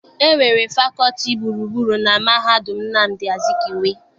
E nwere fakọọti gburugburu na mahadum Nnamdi Azikiwe.